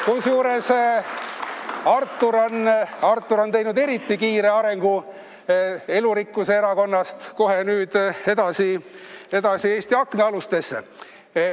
Kusjuures Artur on teinud eriti kiire arengu: Elurikkuse Erakonnast kohe nüüd edasi Eesti Aknaalustesse.